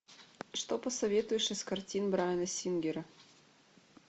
что посоветуешь из картин брайана сингера